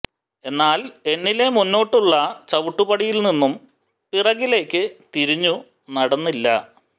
എന്നാൽ എന്നിലെ മുന്നോട്ടുള്ള ചവിട്ടുപടിയിൽ നിന്നും പിറകിലേക്ക് തിരിഞ്ഞു നടന്നില്ല